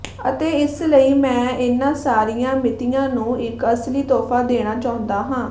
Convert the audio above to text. ਅਤੇ ਇਸ ਲਈ ਮੈਂ ਇਹਨਾਂ ਸਾਰੀਆਂ ਮਿਤੀਆਂ ਨੂੰ ਇੱਕ ਅਸਲੀ ਤੋਹਫਾ ਦੇਣਾ ਚਾਹੁੰਦਾ ਹਾਂ